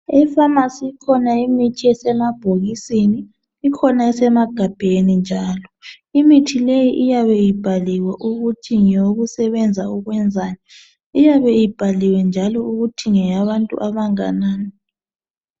Emafamasi ikhona imithi esemabhokisi, ikhona esemagabheni njalo. Imithi leyi iyabe ibhaliwe ukuthi ngeyokusebenza ukwenzani. Iyabe ibhaliwe njalo ukuthi ngeyabantu abanganani.